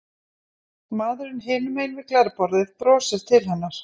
Maðurinn hinum megin við glerborðið brosir til hennar.